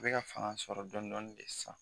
Bɛka ka fanga sɔrɔ dɔɔni dɔɔni de sisan